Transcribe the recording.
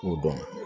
K'o dɔn